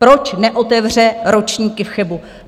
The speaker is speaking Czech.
Proč neotevře ročníky v Chebu?